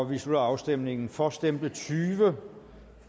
vi slutter afstemningen for stemte tyve